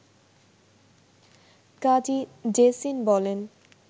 কাজী জেসিন বলেন